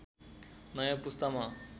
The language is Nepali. नयाँ पुस्तामा